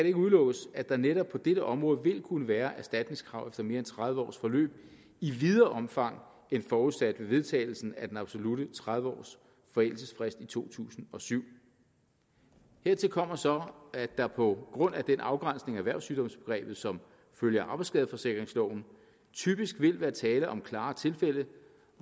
ikke udelukkes at der netop på dette område vil kunne være erstatningskrav efter mere end tredive års forløb i videre omfang end forudsat ved vedtagelsen af den absolutte tredive års forældelsesfrist i to tusind og syv hertil kommer så at der på grund af den afgrænsning af erhvervssygdomsbegrebet som følge af arbejdsskadeforsikringsloven typisk vil være tale om klare tilfælde